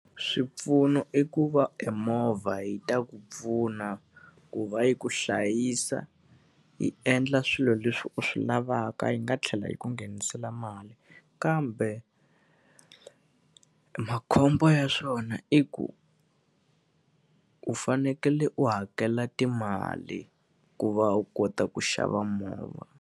Swipfuno i ku va emovha yi ta ku pfuna ku va yi ku hlayisa, yi endla swilo leswi u swi lavaka yi nga tlhela yi ku nghenisela mali. Kambe makhombo ya swona i ku, u fanekele u hakela timali ku va u kota ku xava movha.